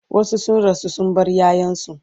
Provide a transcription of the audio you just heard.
wasu sun rasu sun bar ƴaƴansu